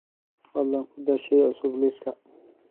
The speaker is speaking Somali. fadlan ku dar shay cusub liiska